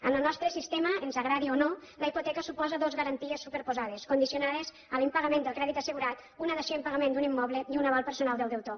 en el nostre sistema ens agradi o no la hipoteca suposa dos garanties superposades condicionades a l’impagament del crèdit assegurat una dació en pagament d’un immoble i un aval personal del deutor